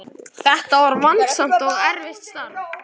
Þetta var vandasamt og erfitt starf.